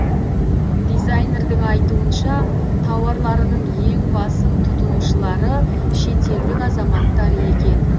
дизайнердің айтуынша тауарларының ең басым тұтынушылары шетелдік азаматтар екен